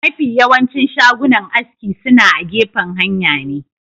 mafi yawancin shagunan aski suna agefan hanya ne